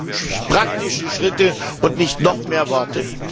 Wir brauchen praktische Schritte und nicht noch mehr Worte!